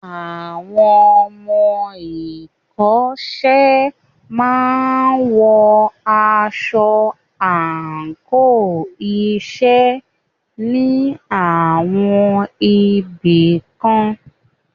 Àwọn ọmọ ìkọ́ṣẹ́ máa wọ aṣọ àńkò iṣẹ́ ní àwọn ibì kan.